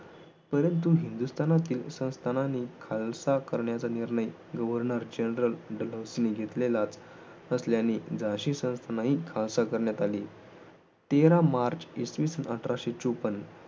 परंतु हिंदुस्थानातील संस्थानांनी खालसा करण्याचा निर्णय governal generalgeneral घेतलेलाच असल्याने झाशी संस्थान ही खालसा करण्यात आली तेरा मार्च इसवीसन अठराशे चोपन्न